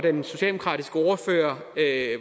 er